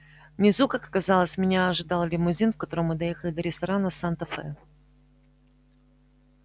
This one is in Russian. внизу как оказалось меня ожидал лимузин в котором мы доехали до ресторана санта фе